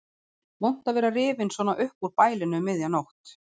Vont að vera rifinn svona upp úr bælinu um miðja nótt.